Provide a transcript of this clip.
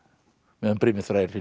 meðan brimið þvær hin